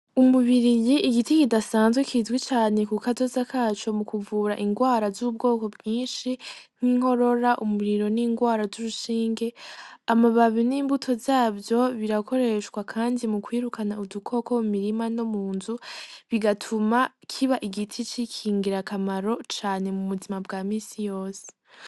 Umubiri yi igiti kidasanzwe kizwi cane ku kazoza kaco mu kuvura ingwara z'ubwoko bwinshi nk'inkorora umuriro n'ingwara z'urushinge amababi n'imbuto zavyo birakoreshwa, kandi mu kwirukana udukoko mu mirima no mu nzu bigatuma kiba igiti c'ikingira kamaro cane mu buzima bwa misi yose.